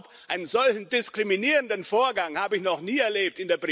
Mit Verlaub, einen solchen diskriminierenden Vorgang habe ich noch nie erlebt.